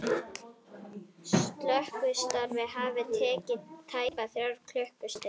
Slökkvistarfið hafi tekið tæpar þrjár klukkustundir